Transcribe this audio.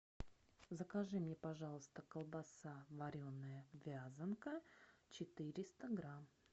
закажи мне пожалуйста колбаса вареная вязанка четыреста грамм